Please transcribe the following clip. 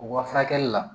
U ka furakɛli la